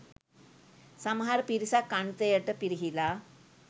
සමහර පිරිසක් අන්තයට පිරිහිලා.